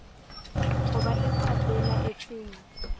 ho ba e sa belaetseng